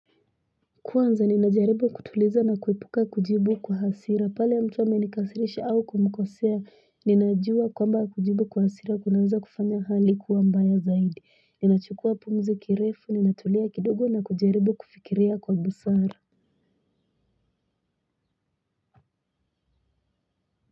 Kwanza ninajaribu kutuliza na kuepuka kujibu kwa hasira pale mtu amenikasirisha au kumkosea ninajua kwamba kujibu kwa hasira kunaweza kufanya hali kuwa mbaya zaidi ninachukua pumzi kirefu ninatulia kidogo na kujaribu kufikiria kwa busara.